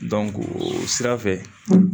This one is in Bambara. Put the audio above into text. o sira fɛ